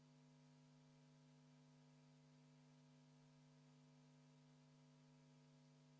Reformierakonna fraktsiooni palutud vaheaeg on lõppenud, viime läbi kohaloleku kontrolli.